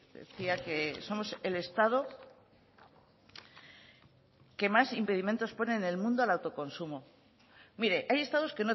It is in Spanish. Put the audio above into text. decía que somos el estado que más impedimentos pone en el mundo al autoconsumo mire hay estados